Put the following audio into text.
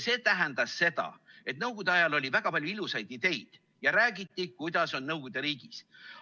Nõukogude ajal oli väga palju ilusaid ideid ja räägiti, kuidas see nõukogude riigis on.